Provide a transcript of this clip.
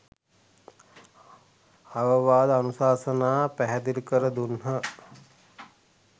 අවවාද අනුශාසනා පැහැදිලි කර දුන්හ.